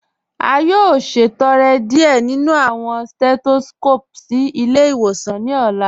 A yóò ṣẹtọrẹ́ díẹ̀ nínu awọn setoskopu sí ilẹ̀-ìwòsàn ní ọ̀la.